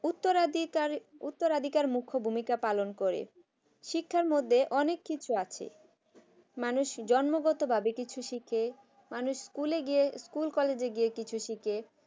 উত্তরাধিকার উত্তরাধিকার মুখ্য ভূমিকা পালন করে শিক্ষার মধ্যে অনেক কিছু আছে মানুষ জন্মগতভাবে কিছু শিখে মানুষ ভুলে গিয়ে school college কিছু শিখে